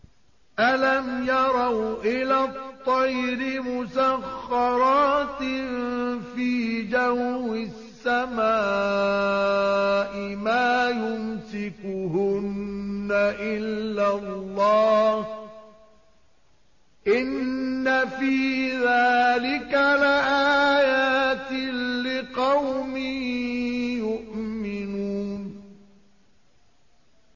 أَلَمْ يَرَوْا إِلَى الطَّيْرِ مُسَخَّرَاتٍ فِي جَوِّ السَّمَاءِ مَا يُمْسِكُهُنَّ إِلَّا اللَّهُ ۗ إِنَّ فِي ذَٰلِكَ لَآيَاتٍ لِّقَوْمٍ يُؤْمِنُونَ